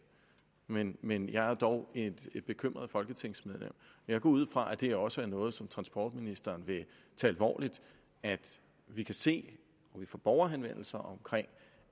men men jeg er dog et bekymret folketingsmedlem og jeg går ud fra at det her også er noget som transportministeren vil tage alvorligt vi kan se og får borgerhenvendelser om